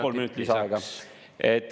Kolm minutit lisaks.